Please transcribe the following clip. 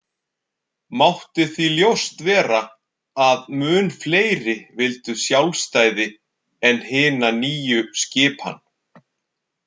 Mátti því ljóst vera að mun fleiri vildu sjálfstæði en hina nýju skipan.